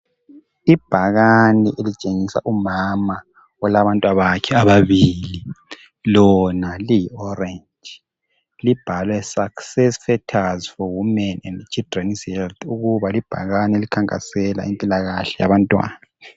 Ibhakane elitshengisa umama olabantwabakhe ababili lona liyi orange libhalwe success factors for women and children's health ukuba libhakane elikhanakasela impilakahle yabantwana.